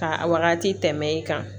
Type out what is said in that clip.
Ka a wagati tɛmɛ i kan